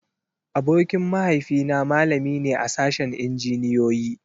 Abokin mahaifi na malami ne a sashen Injiniyoyi.